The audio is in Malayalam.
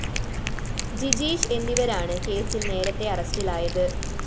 ജിജീഷ് എന്നിവരാണ് കേസില്‍ നേരത്തെ അറസ്റ്റിലായത്